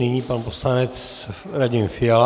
Nyní pan poslanec Radim Fiala.